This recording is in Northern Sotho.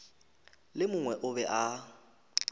le mongwe o be a